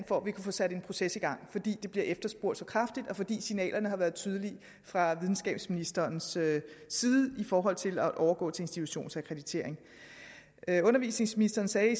for at vi kan få sat en proces i gang fordi det bliver efterspurgt så kraftigt og fordi signalerne har været tydelige fra videnskabsministerens side i forhold til at overgå til institutionsakkreditering undervisningsministeren sagde i